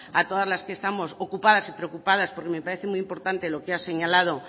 a todas las que estamos ocupadas y preocupadas porque me parece muy importante lo que ha señalado